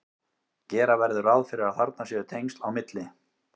gera verður ráð fyrir að þarna séu tengsl á milli